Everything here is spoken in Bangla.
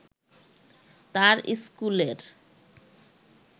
তার স্কুলের